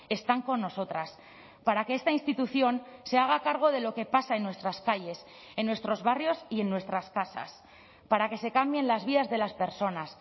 están con nosotras para que esta institución se haga cargo de lo que pasa en nuestras calles en nuestros barrios y en nuestras casas para que se cambien las vías de las personas